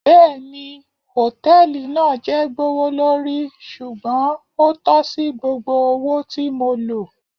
Bẹẹni, hotẹẹli naa jẹ gbowolori ṣugbọn o tọsi gbogbo owo ti mo lo